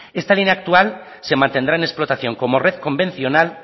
esta línea actual se mantendrá en explotación como red convencional